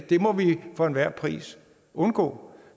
det må vi for enhver pris undgå